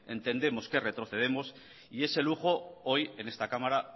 entendemos que retrocedemos y ese lujo hoy en esta cámara